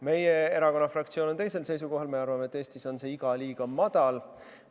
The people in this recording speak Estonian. Meie erakonna fraktsioon on teisel seisukohal, me arvame, et Eestis on see iga liiga madal.